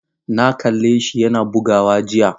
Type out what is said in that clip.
Na kalle shi yana bugawa jiya.